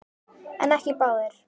En ekki báðir.